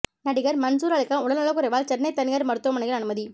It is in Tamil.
நடிகர் மன்சூர் அலிகான் உடல்நலக்குறைவால் சென்னை தனியார் மருத்துவமனையில் அனுமதி